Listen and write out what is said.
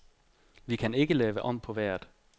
Vi kan ikke lave om på vejret.